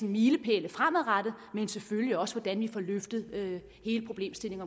milepælene fremadrettet men selvfølgelig også hvordan vi får løftet hele problemstillingen